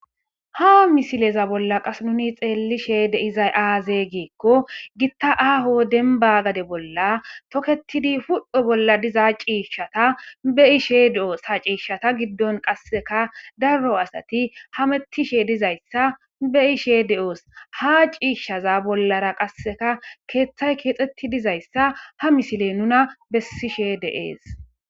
ha misileza bolla qas nuni xeellishe deizay aaze giikko gitta aaho denba gade bolla toketidi hud7he bolla diza ciishshata be ishe de7oos ha ciishshata giddon qasseka darro asati ha mettishe dizayssa be ishe de7oos ha ciishshaza bollara qasseka keeththay keexxetti dizayssa ha misile nuna bessishe deees